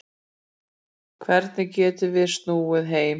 Hvernig getum við snúið heim